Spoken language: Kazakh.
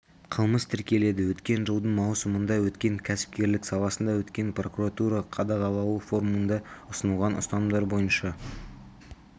қылмыс тіркеледі өткен жылдың маусымында өткен кәсіпкерлік саласында өткен прокуратура қадағалауы форумында ұсынылған ұстанымдар бойынша